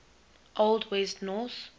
old west norse